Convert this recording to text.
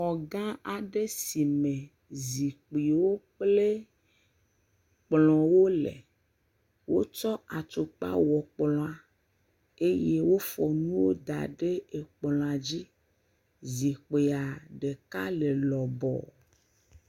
Azikpui gã lɔbɔ aɖe yi ke eta ziɔnu wɔme etɔ̃ ele eme hafi azikpui vi aɖewo hã wɔme eve ele exa. Akplɔ le domeza na wo. E kɔpu yi ke wokɔ nona aha yihã le ekplɔ dzi.